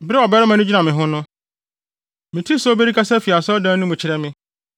Bere a ɔbarima no gyina me ho no, metee sɛ obi rekasa fi asɔredan no mu kyerɛ me.